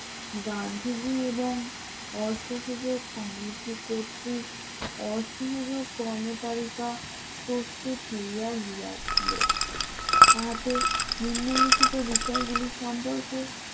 গান্ধীজি এবং অসহযোগ কমিটি কর্তৃক অসুবিধ কর্ম তালিকা প্রস্তুত হইয়া ছে তাদের নিম্নলিখিত বিষয়গুলি সম্পর্কে